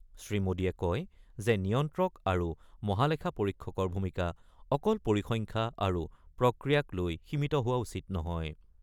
শ্ৰীমোদীয়ে কয় যে নিয়ন্ত্ৰক আৰু মহালেখা পৰীক্ষকৰ ভূমিকা অকল পৰিসংখ্যা আৰু প্ৰক্ৰিয়াক লৈ সীমিত হোৱা উচিত নহয়।